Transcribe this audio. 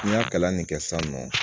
N y'a kalan ne kɛ sisan nɔ